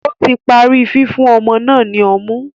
Ó tí parí fífún ọmọ náà ní ọmú